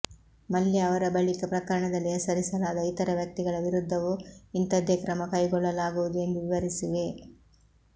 ಮಲ್ಯ ಅವರ ಬಳಿಕ ಪ್ರಕರಣದಲ್ಲಿ ಹೆಸರಿಸಲಾದ ಇತರ ವ್ಯಕ್ತಿಗಳ ವಿರುದ್ಧವೂ ಇಂಥದ್ದೇ ಕ್ರಮ ಕೈಗೊಳ್ಳಲಾಗುವುದು ಎಂದು ವಿವರಿಸಿವೆ